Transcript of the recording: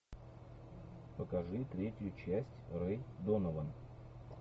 покажи третью часть рэй донован